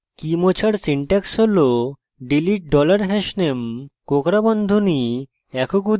key মোছার syntax হল delete dollar hashname কোঁকড়া বন্ধনী